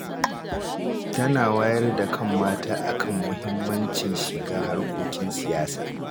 Tana wayar da kan mata a kan muhimmancin shiga harkokin siyasa